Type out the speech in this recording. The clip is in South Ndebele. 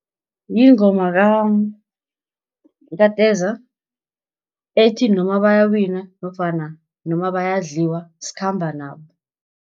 Yingoma kaTeza ethi, noma bayawina nofana noma bayadliwa skhamba nabo.